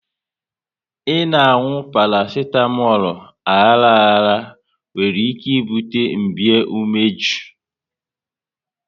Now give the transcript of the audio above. ị na-anwụ parasitamolu aghara aghara nwere ike ibute mmbei umeju